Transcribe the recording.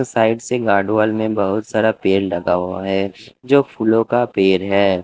Side से guard wall में बहुत सारा पेड़ लगा हुआ है जो फूलों का पेड़ है।